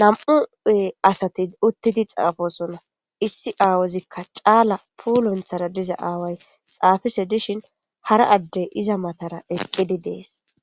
nam7u ee asati uttidi xaafosonna issi aawozikka caala puulonthara diza aaway xaafise dishin hara addey iza matara eqqidi dees